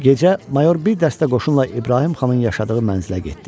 Gecə Mayor bir dəstə qoşunla İbrahim xanın yaşadığı mənzilə getdi.